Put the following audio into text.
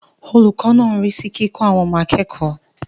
Olùkọ́ náà ń rí sí kíkọ́ àwọn ọmọ akẹ́kọ̀ọ́.